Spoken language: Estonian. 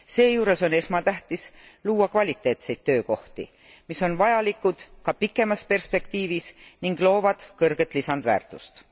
Seejuures on esmatähtis luua kvaliteetseid töökohti, mis on vajalikud ka pikemas perspektiivis ning loovad kõrget lisandväärtust.